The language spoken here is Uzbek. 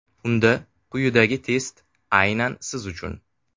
Unda quyidagi test aynan siz uchun.